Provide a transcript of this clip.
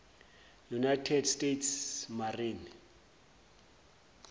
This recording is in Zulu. united states marine